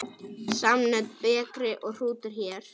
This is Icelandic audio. Samnöfn bekri og hrútur hér.